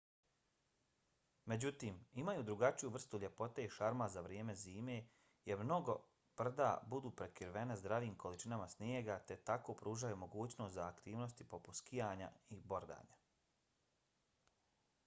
međutim imaju drugačiju vrstu ljepote i šarma za vrijeme zime jer mnoga brda budu prekrivena zdravim količinama snijega te tako pružaju mogućnost za aktivnosti poput skijanja i bordanja